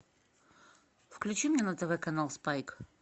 включи мне на тв канал спайк